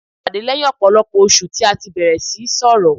A pàdé lẹ́yìn ọ̀pọ̀lọpọ̀ oṣù tí a tí bẹ̀rẹ̀ síí sọrọ̀.